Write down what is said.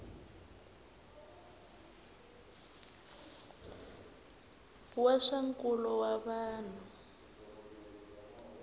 wa swa nkulo wa vanhu